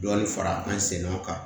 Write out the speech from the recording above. Dɔɔnin fara an sen kan